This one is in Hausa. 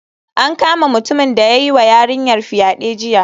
An kama mutumin da ya yiwa yarinyar fyade jiya